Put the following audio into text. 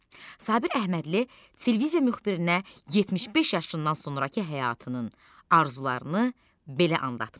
Sabir Əhmədli televiziya müxbirinə 75 yaşından sonrakı həyatının arzularını belə anlatmışdı.